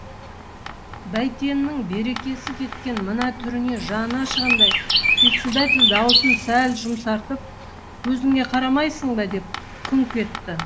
бәйтеннің берекесі кеткен мына түріне жаны ашығандай председатель даусын сәл жұмсартып көзіңе қарамайсың ба деп күңк етті